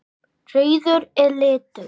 Rauður er litur.